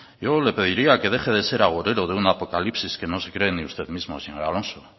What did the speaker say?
yo le pediría que deje de ser agorero de un apocalipsis que no se cree ni usted mismo señor alonso